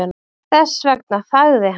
Þess vegna þagði hann.